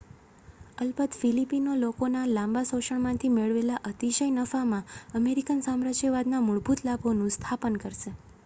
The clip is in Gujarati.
અલબત ફિલિપિનો લોકોના લાંબા શોષણમાંથી મેળવેલા અતિશય નફામાં અમેરિકન સામ્રાજ્યવાદનાં મૂળભૂત લાભોનું સ્થાપન થશે